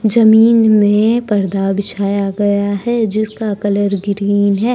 जमीन में पर्दा बिछाया गया है जिसका कलर ग्रीन है।